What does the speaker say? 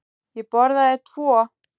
Ég borðaði tvo.